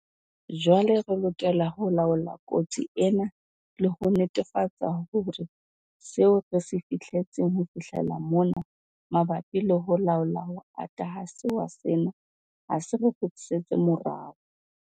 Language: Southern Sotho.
Jwale re lokela ho laola kotsi ena le ho netefatsa hore seo re se fihletseng ho fihlela mona mabapi le ho laola ho ata ha sewa sena ha se re kgutlisetse morao.